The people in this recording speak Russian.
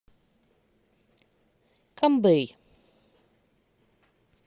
камбэй